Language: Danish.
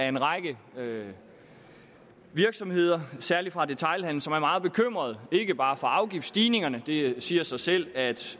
en række virksomheder særlig fra detailhandelen som er meget bekymrede ikke bare for afgiftsstigningerne det siger sig selv at